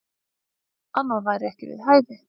Annað væri ekki við hæfi.